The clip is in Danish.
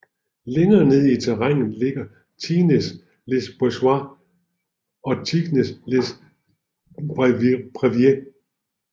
Længere nede i terrænnet ligger Tignes Les Boisses og Tignes Les Brevieres